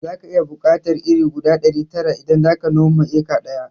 Zaka iya buƙatar iri guda ɗari tara idan zaka noma eka ɗaya